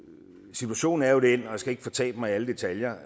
situationen er jo den og jeg skal ikke fortabe mig i alle detaljer